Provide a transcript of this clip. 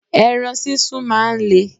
Ẹran sísun máa ń le.